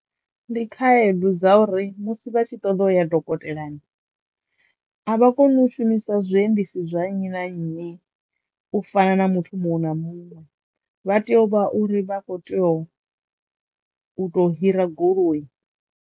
Ndi khaedu dza uri musi vha tshi ṱoḓo u ya madokotelani avha koni u shumisa zwiendesi zwa nnyi na nnyi u fana na muthu muṅwe na muṅwe vha teyo u vha uri vha kho teyo u to hira goloi.